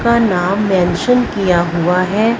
का नाम मेंशन किया हुआ है।